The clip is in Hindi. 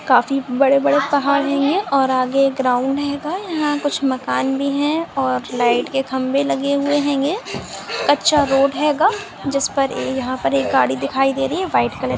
काफी बड़े बड़े पहाड़ हैं ये और आगे ग्राउंड हैगा यहाँ कुछ मकान भी है और लाइट के खंभे लगे हुए है ये अच्छा रोड हैगा जिस पर यहां पर एक गाड़ी दिखाई दे रही है वाइट कलर की।